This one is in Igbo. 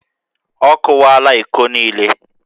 Ọ kụwaala íkó niile